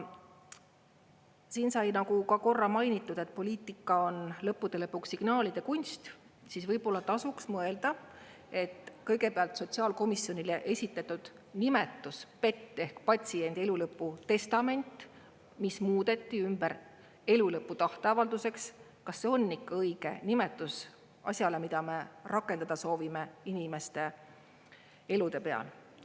Siin sai nagu ka korra mainitud, et poliitika on lõppude lõpuks signaalide kunst, siis võib-olla tasuks mõelda, et kõigepealt sotsiaalkomisjonile esitatud nimetus PET ehk patsiendi elu lõpu testament, mis muudeti ümber elu lõpu tahteavalduseks, kas see on ikka õige nimetus asjale, mida me rakendada soovime inimeste elude peal.